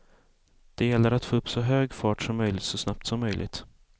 Det gäller att få upp så hög fart som möjligt så snabbt som möjligt.